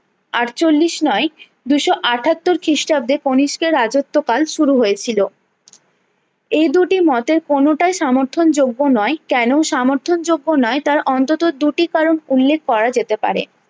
আটচল্লিশ নয় দুশো আটাত্তর খিষ্টাব্দে কণিষ্কের রাজ্যত্ব কাল শুরু হয়েছিলো এই দুটি মতের কোনোটাই সমর্থন যোগ্য নয় কেন সমর্থন যোগ্য নয় তার অন্তত দুটি কারণ উল্লেখ করা যেতে পারে